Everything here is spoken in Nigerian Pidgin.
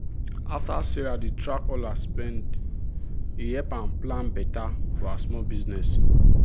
as sarah dey track all her spend e help am plan better for her small business.